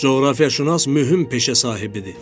Coğrafiyaşünas mühüm peşə sahibidir.